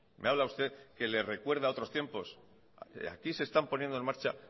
me habla usted que le recuerda a otros tiempos aquí se están poniendo en marcha